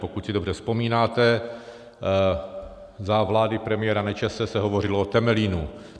Pokud si dobře vzpomínáte, za vlády premiéra Nečase se hovořilo o Temelínu.